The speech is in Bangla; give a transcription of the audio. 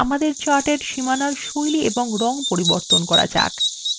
আমাদের চার্ট এর সীমানার style এবং রং পরিবর্তন করা যাক